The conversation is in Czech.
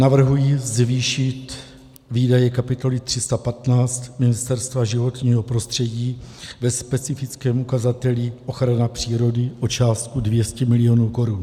Navrhuji zvýšit výdaje kapitoly 315 Ministerstva životního prostředí ve specifickém ukazateli ochrana přírody o částku 200 milionů korun.